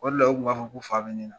O de la u kun b'a fɔ ko fa bɛ ne la.